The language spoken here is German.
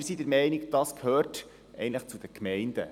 Wir sind der Meinung, das gehöre eigentlich zu den Gemeinden.